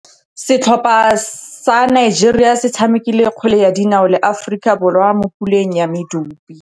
Setlhopha sa Nigeria se tshamekile kgwele ya dinaô le Aforika Borwa mo puleng ya medupe.